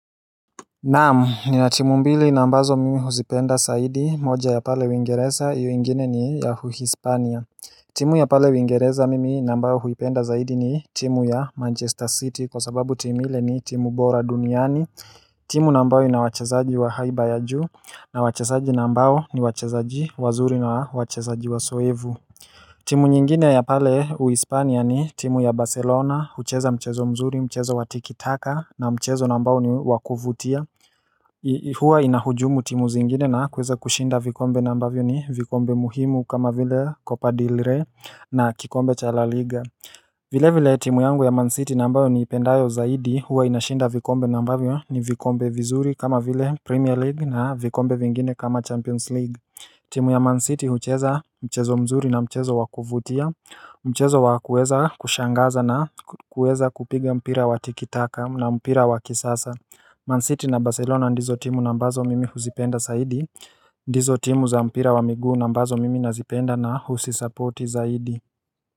Naam ni na timu mbili na ambazo mimi huzipenda zaidi moja ya pale Uingereza iyo ingine ni ya Uhispania timu ya pale uingereza mimi na ambao huipenda zaidi ni timu ya Manchester City kwa sababu timu ile ni timu bora duniani timu na ambayo ina wachezaji wa haiba ya juu, na wachezaji na ambao ni wachezaji wazuri na wachezaji wazoevu timu nyingine ya pale Uhispania ni timu ya Barcelona hucheza mchezo mzuri mchezo wa tikitaka na mchezo na ambao ni wa kuvutia huwa inahujumu timu zingine na kuweza kushinda vikombe na mbavyo ni vikombe muhimu kama vile copa del rey na kikombe cha laliga vile vile, timu yangu ya Man City na ambayo niipendayo zaidi huwa inashinda vikombe na ambavyo ni vikombe vizuri kama vile, Premier League na vikombe vingine kama Champions League, timu ya Man City hucheza mchezo mzuri na mchezo wa kuvutia Mchezo wa kuweza kushangaza na kuweza kupiga mpira wa tikitaka na mpira wa kisasa Man City na Barcelona ndizo timu na ambazo mimi huzipenda zaidi ndizo timu za mpira wa miguu na ambazo mimi nazipenda na huzisupporti zaidi.